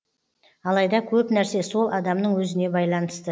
алайда көп нәрсе сол адамның өзіне байланысты